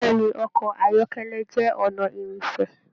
Bẹ̀ẹ́ni ọkọ ayọkẹlẹ jẹ ọnà ìrìnṣẹ̀.